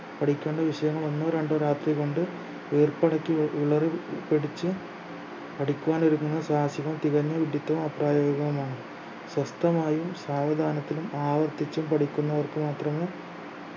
പഠിക്കേണ്ട വിഷയങ്ങൾ ഒന്നോ രണ്ടോ രാത്രി കൊണ്ട് വീർപ്പടക്കി വി വിളറി പിടിച് പഠിക്കുവാൻ ഒരുങ്ങുന്ന സാഹസികം തികഞ്ഞ വിഡ്ഢിത്തവും അപ്രായോഗികവുമാണ് സ്വസ്ഥമായും സാവധാനത്തിലും ആവർത്തിച്ചും പഠിക്കുന്നവർക്ക് മാത്രമേ